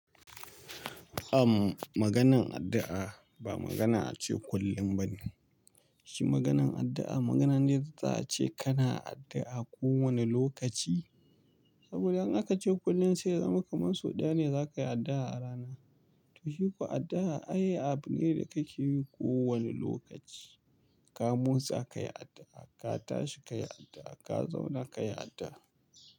Am maganan addu'a ba magana a ce kullum ba ne. Shi maganan addu'a magana ne da za a ce kana addu'a ko wane lokaci. Saboda in aka ce kullum sa ya zama kaman sau ɗaya ne za ka yi addu'a a rana. To shi ko addu'a ai abu ne da ka ke yi ko wane lokaci. Ka motsa ka yi addu'a, ka tashi ka yi addu'a, ka zauna ka yi addu'a.